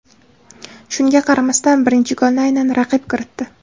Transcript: Shunga qaramasdan birinchi golni aynan raqib kiritdi.